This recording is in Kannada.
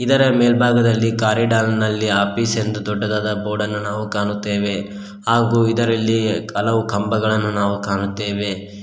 ಇದರ ಮೇಲ್ಭಾಗದಲ್ಲಿ ಕಾರಿಡಾರ್ ನಲ್ಲಿ ಆಪಿಸ್ ಎಂದು ದೊಡ್ಡದಾದ ಬೋರ್ಡನ್ನು ನಾವು ಕಾಣುತ್ತೇವೆ ಹಾಗೂ ಇದರಲ್ಲಿ ಹಲವು ಕಂಬಗಳನ್ನು ನಾವು ಕಾಣುತ್ತೇವೆ.